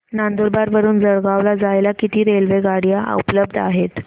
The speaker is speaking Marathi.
नंदुरबार वरून जळगाव ला जायला किती रेलेवगाडया उपलब्ध आहेत